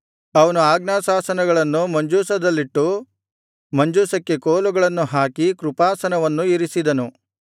ಅವನು ಆಜ್ಞಾಶಾಸನಗಳನ್ನು ಮಂಜೂಷದಲ್ಲಿಟ್ಟು ಮಂಜೂಷಕ್ಕೆ ಕೋಲುಗಳನ್ನು ಹಾಕಿ ಕೃಪಾಸನವನ್ನು ಇರಿಸಿದನು